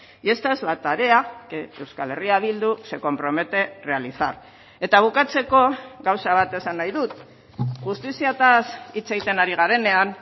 y esta es la tarea que euskal herria bildu se compromete realizar eta bukatzeko gauza bat esan nahi dut justiziaz hitz egiten ari garenean